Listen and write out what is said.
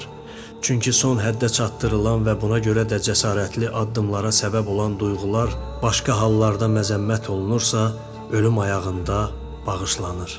çünki son həddə çatdırılan və buna görə də cəsarətli addımlara səbəb olan duyğular başqa hallarda məzəmmət olunursa, ölüm ayağında bağışlanır.